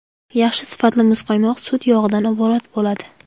Yaxshi sifatli muzqaymoq sut yog‘idan iborat bo‘ladi.